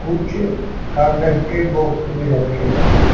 कुछ कागज के बॉक्स भी रखे हुए हैं।